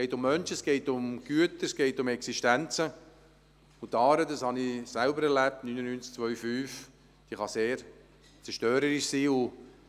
Es geht um Menschen, es geht um Güter, es geht um Existenzen, und die Aare – das habe ich 1999 und 2005 selbst erlebt – kann sehr zerstörerisch sein.